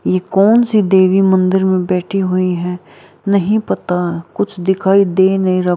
यह कौन सी देवी मंदिर में बैठी हुई है नहीं पता कुछ दिखाई दे नहीं रहा --